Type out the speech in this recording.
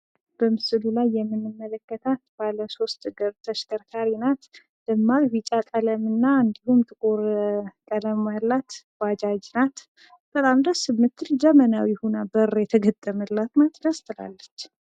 በምስሉ ላይ የምንመለከታት ባለ ሶስት እግር ተሽከርካሪ ናት። ደማቅ ቢጫ ቀለምና እንዲሁም ጥቁር ቀለም ያላት ባጃጅ ናት። በጣም ደስ የምትል ዘመናዊ ሆና በር የተገጠመላት ናት ደስ ትላለች።